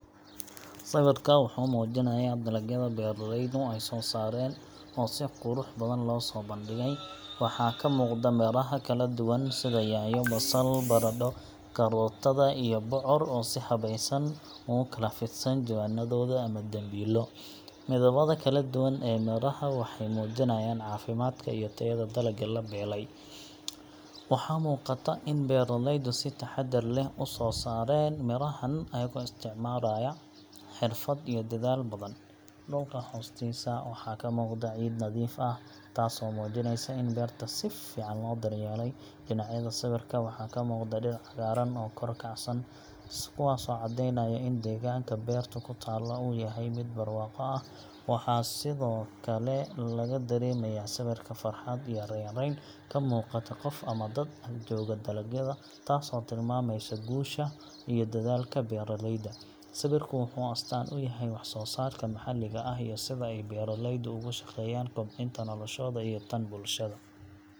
Sawirka wuxuu muujinayaa dalagyada beeraleydu ay soo saareen oo si qurux badan loo soo bandhigay. Waxaa ka muuqda miraha kala duwan sida yaanyo, basal, baradho, karootada, iyo bocor oo si habaysan ugu kala fidsan jawaanadooda ama dambiilo. Midabada kala duwan ee miraha waxay muujinayaan caafimaadka iyo tayada dalagga la beelay. Waxaa muuqata in beeraleydu si taxaddar leh u soo saareen mirahan iyagoo isticmaalaya xirfad iyo dadaal badan. Dhulka hoostiisa waxaa ka muuqda ciid nadiif ah taasoo muujinaysa in beerta si fiican loo daryeelay. Dhinacyada sawirka waxaa ka muuqda dhir cagaaran oo kor u kacsan, kuwaasoo caddeynaya in deegaanka beertu ku taallo uu yahay mid barwaaqo ah. Waxaa sidoo kale laga dareemayaa sawirka farxad iyo raynrayn ka muuqata qof ama dad ag jooga dalagyada, taasoo tilmaamaysa guusha iyo dadaalka beeraleyda. Sawirku wuxuu astaan u yahay wax-soo-saarka maxalliga ah iyo sida ay beeraleydu uga shaqeeyaan kobcinta noloshooda iyo tan bulshada.